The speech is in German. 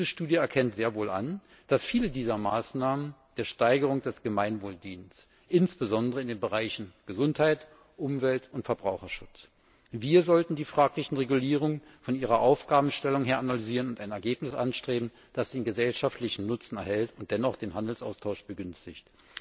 Diese Studie erkennt sehr wohl an, dass viele dieser Maßnahmen der Steigerung des Gemeinwohls dienen, insbesondere in den Bereichen Gesundheit, Umwelt und Verbraucherschutz. Wir sollten die fragliche Regulierung von ihrer Aufgabenstellung her analysieren und ein Ergebnis anstreben, das einen gesellschaftlichen Nutzen enthält und dennoch den Handelsaustausch begünstigt.